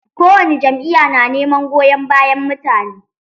Kowani jami'ya na neman goyon bayan mutane.